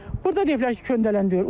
Burda deyiblər ki, köndələn deyil.